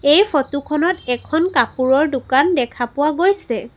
এই ফটো খনত এখন কাপোৰৰ দোকান দেখা পোৱা গৈছে।